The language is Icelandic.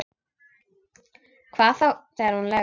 Hvað þá þegar hún leggst.